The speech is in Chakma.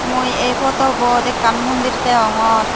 mui ei potobot ekkan mondir deyongor.